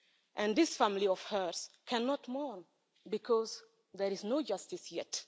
And this family of hers cannot mourn because there is no justice yet.